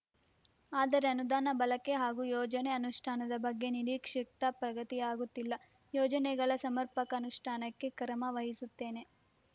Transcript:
ಆದರೆ ಅನುದಾನ ಬಳಕೆ ಹಾಗೂ ಯೋಜನೆ ಅನುಷ್ಠಾನದ ಬಗ್ಗೆ ನಿರೀಕ್ಷಿತ ಪ್ರಗತಿಯಾಗುತ್ತಿಲ್ಲ ಯೋಜನೆಗಳ ಸಮರ್ಪಕ ಅನುಷ್ಠಾನಕ್ಕೆ ಕ್ರಮವಹಿಸುತ್ತೇನೆ